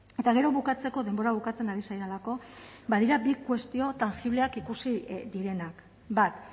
eta gero bukatzeko denbora bukatzen ari zaidalako badira bi kuestio tangibleak ikusi direnak bat